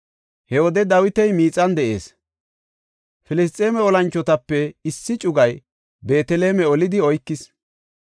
He wode Dawiti miixan de7ees; Filisxeeme olanchotape issi cugay Beeteleme olidi oykis.